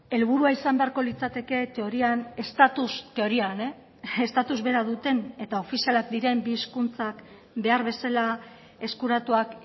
helburua izan beharko litzateke teorian estatus teorian estatus bera duten eta ofizialak diren bi hizkuntzak behar bezala eskuratuak